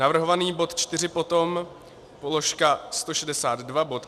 Navrhovaný bod čtyři potom položka 162 bod